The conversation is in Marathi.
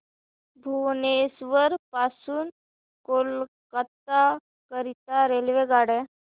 भुवनेश्वर पासून कोलकाता करीता रेल्वेगाड्या